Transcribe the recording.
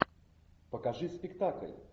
покажи спектакль